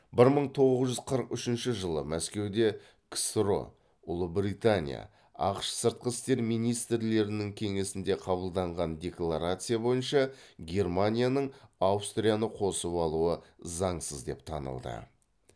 бір мың тоғыз жүз қырық үшінші жылы мәскеуде ксро ұлыбритания ақш сыртқы істер министрлерінің кеңесінде қабылданган декларация бойынша германияның аустрияны қосып алуы заңсыз деп танылды